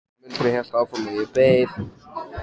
Muldrið hélt áfram og ég beið.